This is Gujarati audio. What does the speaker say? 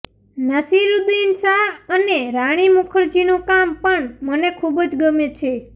નાસિરૂદ્દિન શાહ અને રાણી મુખરજીનું કામ પણ મને ખૂબજ ગમે છે